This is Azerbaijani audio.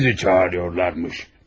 Sizi çağırırdılar.